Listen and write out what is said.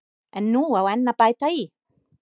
En nú á enn að bæta í.